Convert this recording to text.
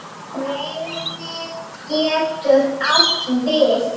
Reynir getur átt við